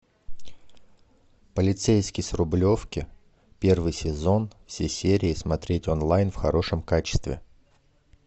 полицейский с рублевки первый сезон все серии смотреть онлайн в хорошем качестве